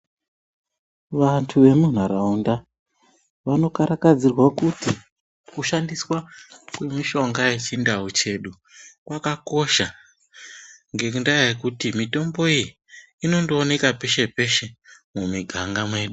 Vanthu vemunharaunda, vanokarakadzirwa kuti, kushandiswa kwemishonga yechindau chedu, kwakakosha, ngendaa yekuti mitombo iyi, inondooneka peshe-peshe, mumiganga mwedu.